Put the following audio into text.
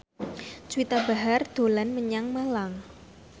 Juwita Bahar dolan menyang Malang